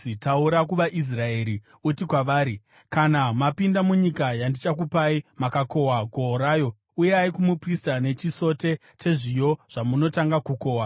“Taura kuvaIsraeri uti kwavari, ‘Kana mapinda munyika yandichakupai, mukakohwa gohwo rayo, uyai kumuprista nechisote chezviyo zvamunotanga kukohwa.